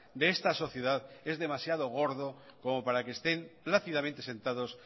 de esta sociedad es demasiado gordo como para que estén plácidamente sentados